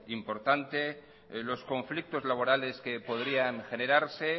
importante los conflictos laborales que podrían generarse